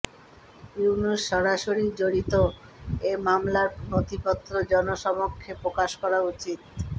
ইউনূস সরাসরি জড়িত এ মামলার নথিপত্র জনসমক্ষে প্রকাশ করা উচিত